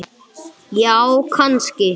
Já, kannski